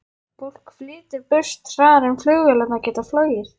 Fólk flytur burt hraðar en flugvélarnar geta flogið.